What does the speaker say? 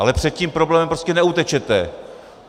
Ale před tím problémem prostě neutečete.